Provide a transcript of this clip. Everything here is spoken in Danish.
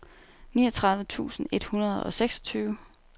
niogtredive tusind et hundrede og seksogtyve